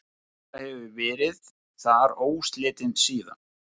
Búseta hefur verið þar óslitin síðan.